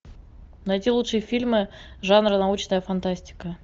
найти лучшие фильмы жанра научная фантастика